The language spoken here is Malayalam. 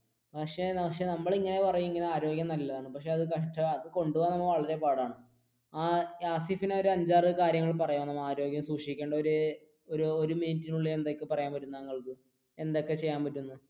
പക്ഷെ പക്ഷെ നമ്മൾ ഇങ്ങനെ പറയും ആരോഗ്യം നല്ലതാണെന്നു പക്ഷെ ഹാസഫിന് ഒരു അഞ്ചു ആർ കാര്യങ്ങൾ പറയാമോ ആരോഗ്യം സൂക്ഷിക്കേണ്ട ഒരു മിനിറ്റിന് ഉള്ളിൽ എന്തൊക്കെ പറയാൻ പറ്റും തങ്ങൾക്ക് എന്തൊക്കെ ചെയ്യാൻ പറ്റും?